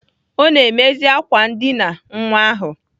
Ọ na-emezi ákwà ndịna nwa ahụ.